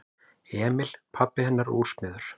Emil pabbi hennar er úrsmiður.